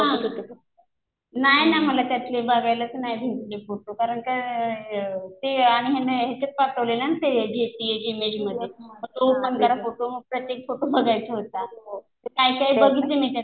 हा. नाही ना मला त्यातले बघायलाच नाही भेटले फोटो. कारण काय ते याने याच्यात पाठवले ना ते जेपीईजी इमेज मध्ये. मग कुठं ओपन करा फोटो. प्रत्येक फोटो बघायचा होता. ते काय, काय बघितले मी त्यातले.